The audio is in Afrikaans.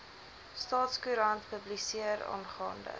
staatskoerant publiseer aangaande